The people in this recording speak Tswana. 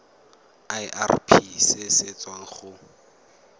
irp se se tswang go